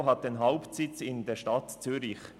RSPO hat den Hauptsitz in der Stadt Zürich.